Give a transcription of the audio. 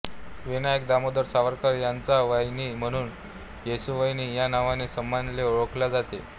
विनायक दामोदर सावरकर यांच्या वाहिनी म्हणून येसूवहिनी या नावाने सामान्यपणे ओळखल्या जातात